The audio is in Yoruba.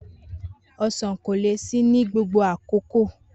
Osan ko le si ni gbogbo akoko.